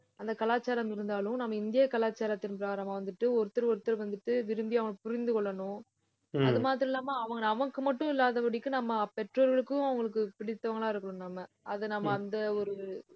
அந்த கலாச்சாரம் இருந்தாலும் நம்ம இந்திய கலாச்சாரத்தின் பிரகாரம் வந்துட்டு ஒருத்தர் ஒருத்தர் வந்துட்டு விரும்பி அவன புரிந்து கொள்ளணும். அது மாதிரி இல்லாம அவங்க நமக்கு மட்டும் இல்லாதபடிக்கு நம்ம பெற்றோர்களுக்கும் அவங்களுக்கு பிடித்தவங்களா இருக்கணும் நம்ம அதை நம்ம அந்த ஒரு